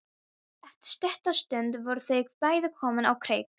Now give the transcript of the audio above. Eftir stutta stund voru þau bæði komin á kreik.